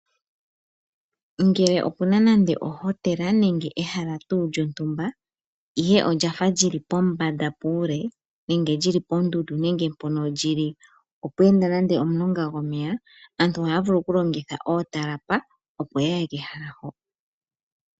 Ngele opuna nando ohotela nenge ehala tuu lyontumba ihe olyafa lili pombanda puule nenge lili pondundu nenge mpono lili opweenda nande omulonga gomeya aantu ohaya vulu oku longitha ootalapa opo yaye kehala ho.